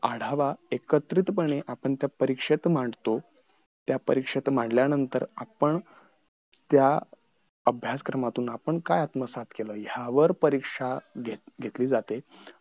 आढावा एकत्रितपणे आपण त्या परीक्षेत मांडतो त्या परीक्षेत मांडल्यानंतर आपण त्या अभ्यास क्रमातून आपण काय आत्मसात केलं ह्यावर परीक्षा घेत घेतली जाते आणि